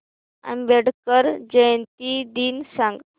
आंबेडकर जयंती दिन सांग